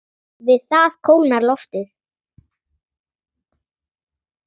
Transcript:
Við það kólnar loftið.